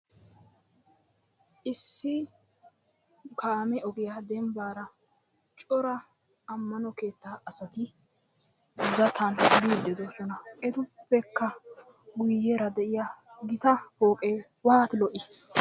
Issi kaamee ogiya dembbaara cora ammano keettaa asati zatan yiidi de'oisona. Etuppekka guuyera de'iya gita pooqee waati lo'i!